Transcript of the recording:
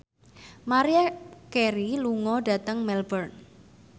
Maria Carey lunga dhateng Melbourne